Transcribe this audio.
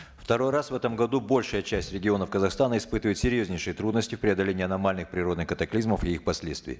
второй раз в этом году большая часть регионов казахстана испытывает серьезнейшие трудности в преодолении аномальных природных катаклизмов и их последствий